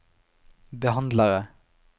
behandlere